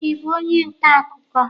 Ị bụ onye nta akụkọ?